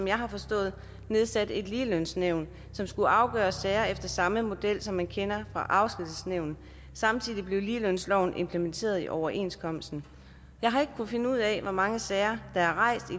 jeg har forstået nedsat et ligelønsnævn som skulle afgøre sager efter samme model som man kender fra afskedsnævnet samtidig blev ligelønsloven implementeret i overenskomsten jeg har ikke kunnet finde ud af hvor mange sager der er rejst i